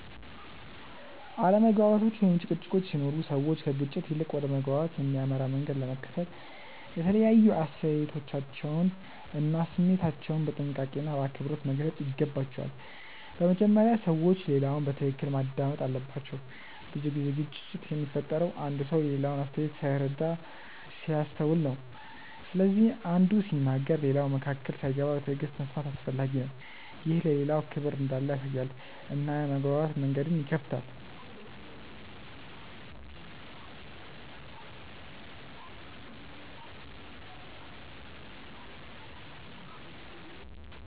አለመግባባቶች ወይም ጭቅጭቆች ሲኖሩ ሰዎች ከግጭት ይልቅ ወደ መግባባት የሚያመራ መንገድ ለመከተል የተለያዩ አስተያየቶቻቸውን እና ስሜታቸውን በጥንቃቄና በአክብሮት መግለጽ ይገባቸዋል። በመጀመሪያ ሰዎች ሌላውን በትክክል ማዳመጥ አለባቸው። ብዙ ጊዜ ግጭት የሚፈጠረው አንዱ ሰው የሌላውን አስተያየት ሳይረዳ ሲያስተውል ነው። ስለዚህ አንዱ ሲናገር ሌላው መካከል ሳይገባ በትዕግሥት መስማት አስፈላጊ ነው። ይህ ለሌላው ክብር እንዳለ ያሳያል እና የመግባባት መንገድን ይከፍታል.